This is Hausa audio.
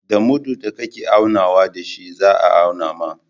Da mudun da ka ke aunawa da shi za a auna maka.